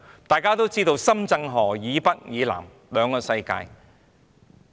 大家都知道，深圳河以北和以南是兩個不同的世界。